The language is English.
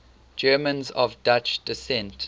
germans of dutch descent